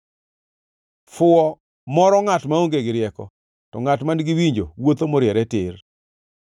Fuwo moro ngʼat maonge gi rieko, to ngʼat man-gi winjo wuotho moriere tir.